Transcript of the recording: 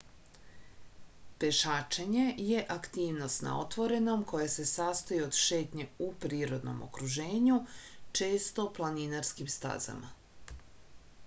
pešačenje je aktivnost na otvorenom koja se sastoji od šetnje u prirodnom okruženju često planinarskim stazama